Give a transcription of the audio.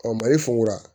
Ɔ mali funfun a